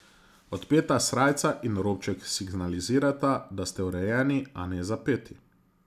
Odpeta srajca in robček signalizirata, da ste urejeni, a ne zapeti.